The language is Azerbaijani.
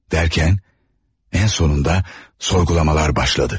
Dərkən, ən sonunda sorgulamalar başladı.